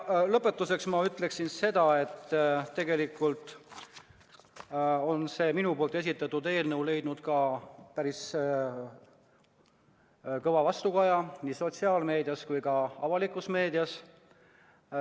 Lõpetuseks ütlen seda, et tegelikult on minu esitatud eelnõu leidnud päris kõva vastukaja nii sotsiaalmeedias kui ka avalikus meedias.